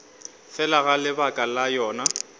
fela ga lebaka la yona